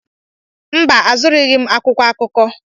Mba, azụrụghị m akwụkwọ akụkọ.